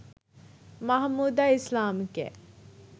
মাহমুদা ইসলামকে